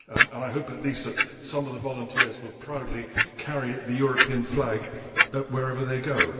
and I hope at least that some of the volunteers will proudly carry the European flag wherever they go.